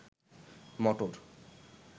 মটর